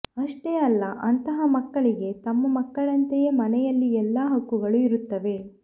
ಅಷ್ಟೇ ಅಲ್ಲ ಅಂತಹ ಮಕ್ಕಳಿಗೆ ತಮ್ಮ ಮಕ್ಕಳಂತೆಯೇ ಮನೆಯಲ್ಲಿ ಎಲ್ಲಾ ಹಕ್ಕುಗಳೂ ಇರುತ್ತವೆ